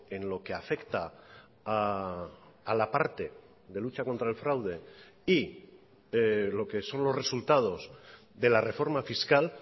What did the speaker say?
en lo que afecta a la parte de lucha contra el fraude y lo que son los resultados de la reforma fiscal